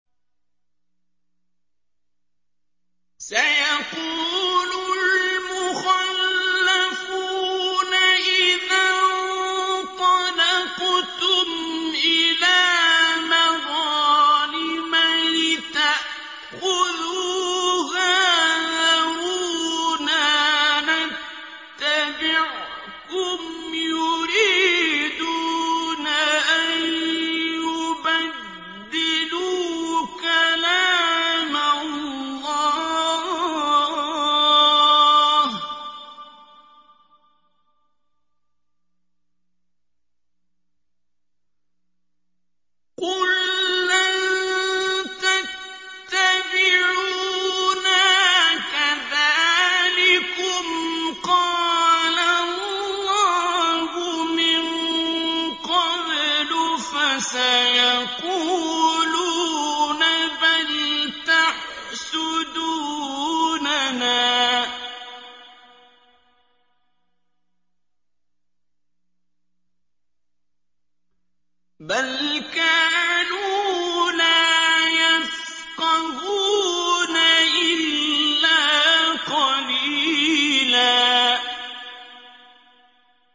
سَيَقُولُ الْمُخَلَّفُونَ إِذَا انطَلَقْتُمْ إِلَىٰ مَغَانِمَ لِتَأْخُذُوهَا ذَرُونَا نَتَّبِعْكُمْ ۖ يُرِيدُونَ أَن يُبَدِّلُوا كَلَامَ اللَّهِ ۚ قُل لَّن تَتَّبِعُونَا كَذَٰلِكُمْ قَالَ اللَّهُ مِن قَبْلُ ۖ فَسَيَقُولُونَ بَلْ تَحْسُدُونَنَا ۚ بَلْ كَانُوا لَا يَفْقَهُونَ إِلَّا قَلِيلًا